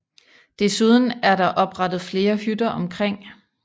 Desuden er der oprettet flere hytter omkring